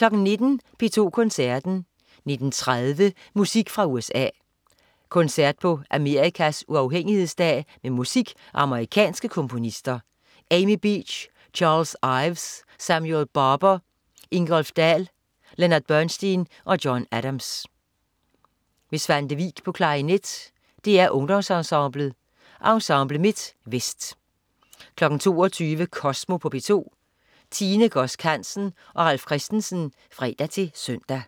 19.00 P2 Koncerten. 19.30 Musik fra USA. Koncert på Amerikas uafhængighedsdag med musik af amerikanske komponister: Amy Beach, Charles Ives, Samuel Barber, Ingolf Dahl, Leonard Bernstein og John Adams. Svante Vik, klarinet. DR Ungdomsensemblet. Ensemble MidtVest 22.00 Kosmo på P2. Tine Godsk Hansen og Ralf Christensen (fre-søn)